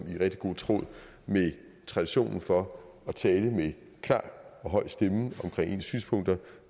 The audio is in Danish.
i rigtig god tråd med traditionen for at tale med klar og høj stemme omkring ens synspunkter